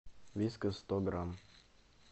вискас сто грамм